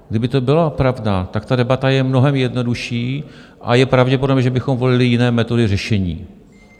Kdyby to byla pravda, tak ta debata je mnohem jednodušší a je pravděpodobné, že bychom volili jiné metody řešení.